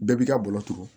Bɛɛ b'i ka baro turu